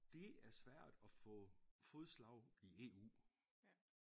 Det er svært at få fodslag i EU